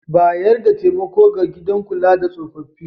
Bayar da taimako ga gidan kula da tsofaffi.